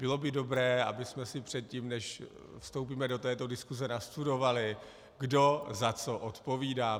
Bylo by dobré, abychom si předtím, než vstoupíme do této diskuse, nastudovali, kdo za co odpovídá.